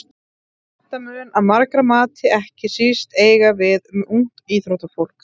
Þetta mun að margra mati ekki síst eiga við um ungt íþróttafólk.